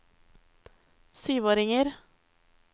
syvåringer